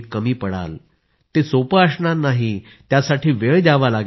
find your calling it could be art music graphic design literature etc